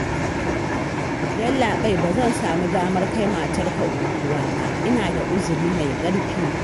Yallaɓai, ba zan samu damar kai matarka unguwa ba, ina da uzuri mai ƙarfi